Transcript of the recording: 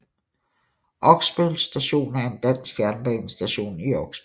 Oksbøl Station er en dansk jernbanestation i Oksbøl